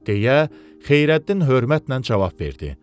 deyə Xeyrəddin hörmətlə cavab verdi.